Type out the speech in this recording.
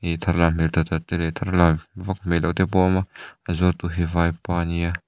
tharlam hmel tak tak te leh tharlam vak hmel loh te pawh a awm a a zuar tu hi vaipa nia.